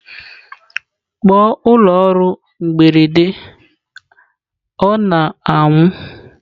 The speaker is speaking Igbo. Kpọọ ụlọ ọrụ mberede ọ na-anwụ!.